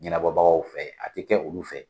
Ɲɛnabɔbagaw fɛ ,a ti kɛ olu fɛ.